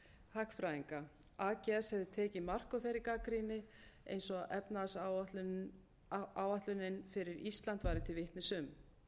hagfræðinga ags hefði tekið mark á þeirri gagnrýni eins og efnahagsáætlunin fyrir ísland væri til vitnis um